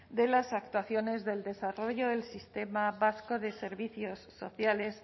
de las actuaciones del desarrollo del sistema vasco de servicios sociales